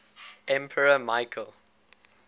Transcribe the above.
emperor michael